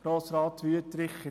Grossrat Wüthrich